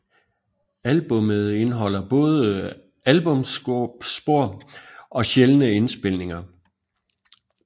Albummet indeholder både albumsspor og sjældne indspilninger